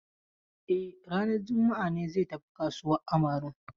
E, ranar juma'a ne zai tafi kasuwan Amarun.